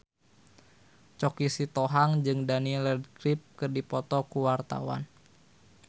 Choky Sitohang jeung Daniel Radcliffe keur dipoto ku wartawan